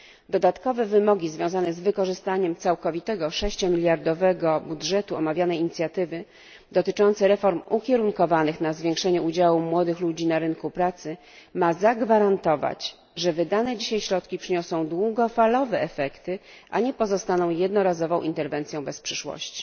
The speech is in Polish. Dodatkowe wymogi związane z wykorzystaniem całkowitego 6 miliardowego budżetu omawianej inicjatywy i dotyczące reform ukierunkowanych na zwiększenie udziału młodych ludzi na rynku pracy mają zagwarantować, że wydane dzisiaj środki przyniosą długofalowe efekty, a nie pozostaną jednorazową interwencją bez przyszłości.